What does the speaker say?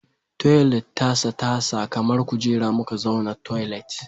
Toilet tasa tasa kamar kujera muka zauna toilet